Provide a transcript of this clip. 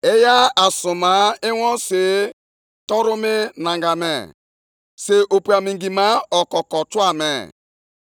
Ị chịrịla ịnyịnya gị zọọ ije nʼoke osimiri, kpagharịa mmiri ukwu ndị ahụ.